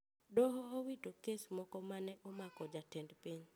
Doho owito kes moko ma ne omako jatend piny